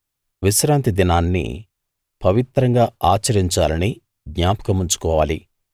విశ్రాంతి దినాన్ని పవిత్రంగా ఆచరించాలని జ్ఞాపకం ఉంచుకోవాలి